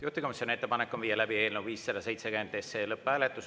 Juhtivkomisjoni ettepanek on viia läbi eelnõu 570 lõpphääletus.